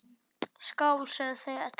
Skál, sögðu þau öll.